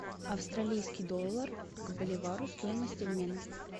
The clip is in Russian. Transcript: австралийский доллар к боливару стоимость обмена